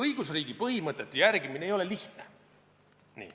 Õigusriigi põhimõtete järgimine ei ole lihtne.